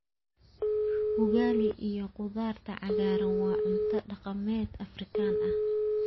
Ugali iyo khudaarta cagaaran waa cunto dhaqameed Afrikaan ah.